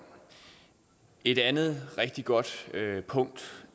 et andet rigtig godt punkt